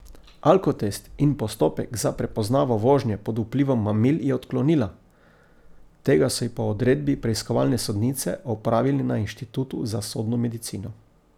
Alkotest in postopek za prepoznavo vožnje pod vplivom mamil je odklonila, tega so ji po odredbi preiskovalne sodnice opravili na Inštitutu za sodno medicino.